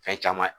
Fɛn caman ye